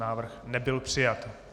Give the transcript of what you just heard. Návrh nebyl přijat.